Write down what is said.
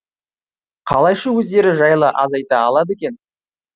қалайша өздері жайлы аз айта алады екен